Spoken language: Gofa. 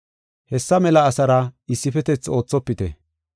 Hessa mela asaara issifetethi oothopite.